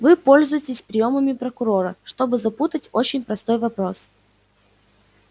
вы пользуетесь приёмами прокурора чтобы запутать очень простой вопрос